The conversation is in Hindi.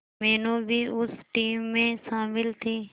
मीनू भी उस टीम में शामिल थी